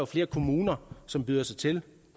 flere kommuner som byder sig til